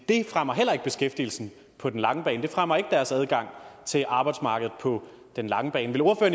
det fremmer heller ikke beskæftigelsen på den lange bane det fremmer ikke deres adgang til arbejdsmarkedet på den lange bane